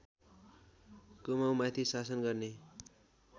कुमाउँमाथि शासन गर्ने